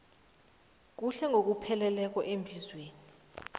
kuhle ngokupheleleko emzimbeni